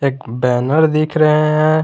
एक बैनर दिख रहा है।